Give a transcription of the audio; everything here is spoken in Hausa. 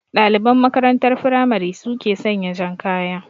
Ɗaliban makarantar firamare su ke sanya jan kaya